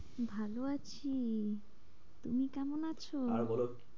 ভালো আছি, তুমি কেমন আছো? আর বলো